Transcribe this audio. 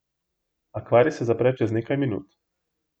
Akvarij se zapre čez nekaj minut.